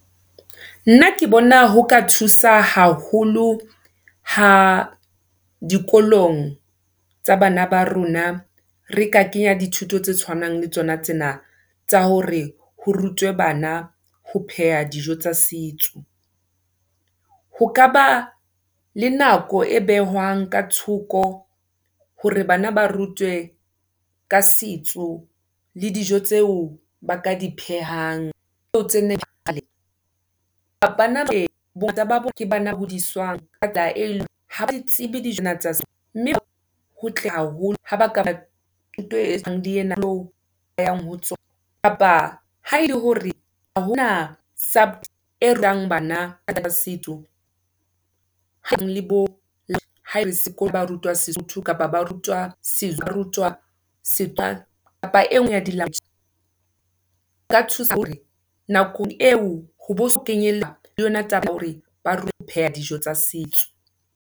Nna ke bona ho ka thusa haholo, ha dikolong tsa bana ba rona, re ka kenya dithuto tse tshwanang le tsona tsena, tsa hore ho rutwe bana ho pheha dijo tsa setso. Ho ka ba le nako e behwang ka thoko, hore bana ba rutwe, ka setso, le dijo tseo ba ka di phehang ,, mme ho hotle haholo, ha bakaba le ena, yang ho , kapa ha ele hore, ha hona , bana setso, bo, ha ale , ba rutwa sesotho, kapa ba rutwa , barutwa , kapa engwe ya di . Ho ka thusa hore nakong eo, ho bo ho so le yona taba ya hore, ba ho pheha dijo tsa setso.